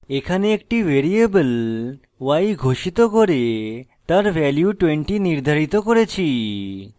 এখানে একটি variable y ঘোষিত করে তার value 20 নির্ধারিত করেছি